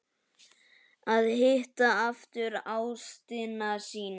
Að hitta aftur ástina sína